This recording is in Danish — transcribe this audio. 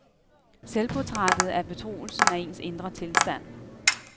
Selvportrættet er betroelsen af ens indre tilstand.